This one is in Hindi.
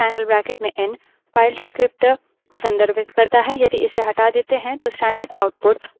एन single rightangle bracket या एन double rightangle bracket में एन file descriptor को संदर्भित करता है